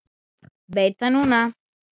Veit það núna.